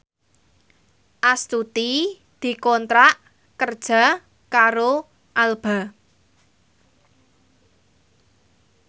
Astuti dikontrak kerja karo Alba